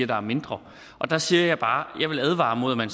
der er mindre der siger jeg bare at jeg vil advare imod at man